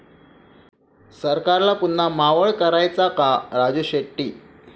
सरकारला पुन्हा 'मावळ' करायचा का? राजू शेट्टी